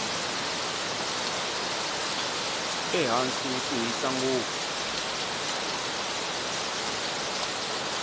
ehansi ku hisa ngopfu